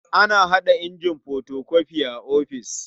Ana haɗa injin fotokofi a ofis.